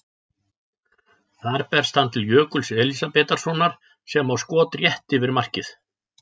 Þar berst hann til Jökuls Elísabetarsonar sem á skot rétt yfir markið.